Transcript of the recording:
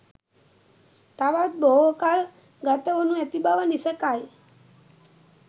තවත් බොහෝ කල් ගතවනු ඇති බව නිසැකයි.